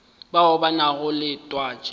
bao ba nago le twatši